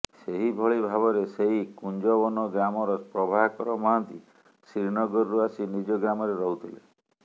ସେହିଭଳି ଭାବରେ ସେହି କୁଂଜବନ ଗ୍ରାମର ପ୍ରଭାକର ମହାନ୍ତି ଶ୍ରୀନଗରରୁ ଆସି ନିଜ ଗ୍ରାମରେ ରହୁଥିଲେ